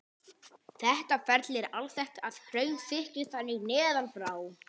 Þetta ferli er alþekkt að hraun þykkni þannig neðan frá.